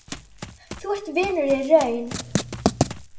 Þú ert vinur í raun.